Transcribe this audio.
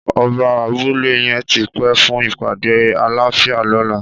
Ọbà àbùlé yèn ti pé fùn ipàdé àláfiá lọ̀lá